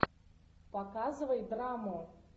показывай драму